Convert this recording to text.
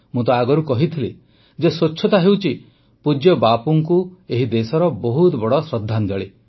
ମୁଁ ତ ଆଗରୁ କହିଥିଲି ଯେ ସ୍ୱଚ୍ଛତା ହେଉଛି ପୂଜ୍ୟ ବାପୁଙ୍କୁ ଏହି ଦେଶର ବହୁତ ବଡ଼ ଶ୍ରଦ୍ଧାଞ୍ଜଳି